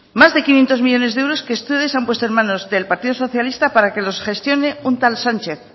más de quinientos millónes de euros que ustedes han puesto en manos del partido socialista para que los gestione un tal sánchez